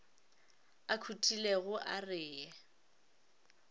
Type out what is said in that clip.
a khutilego a re ye